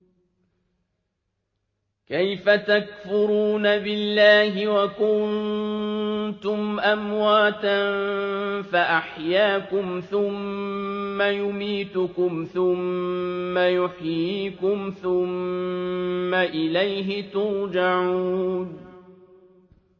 كَيْفَ تَكْفُرُونَ بِاللَّهِ وَكُنتُمْ أَمْوَاتًا فَأَحْيَاكُمْ ۖ ثُمَّ يُمِيتُكُمْ ثُمَّ يُحْيِيكُمْ ثُمَّ إِلَيْهِ تُرْجَعُونَ